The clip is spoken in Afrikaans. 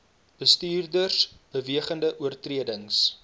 bestuurders bewegende oortredings